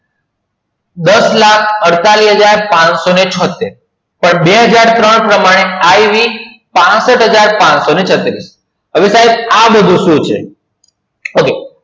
દસલાખ અદ્તાલીશ્હાજર્પંસો ને છોતેર પણ બહજાર ત્રણ પ્રમાણે આય week પાશટહજાર પાનસો ને છત્રી આવે સાહેબ આ બધુ સુ છે